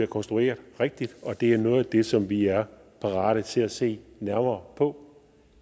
konstrueret rigtigt og det er noget af det som vi er parate til at se nærmere på